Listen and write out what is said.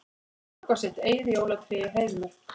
Höggva sitt eigið jólatré í Heiðmörk